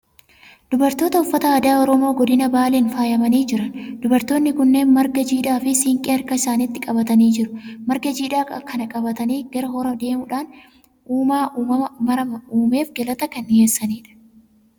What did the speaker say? Dubartoota uffata aadaa Oromoo godina Baaleen faayamanii jiran. Dubartoonni kunneen marga jiidhaa fi siinqee harka isaaniitti qabatanii jiru. Marga jiidhaa kana qabatanii gara horaa deemuudhaan uumaa uumama mara uumeef galata kan dhiyeessanidha.